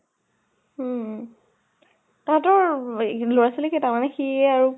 হুম তাহাঁতৰ লʼৰা ছোৱালী কেইটা মানে সি আৰু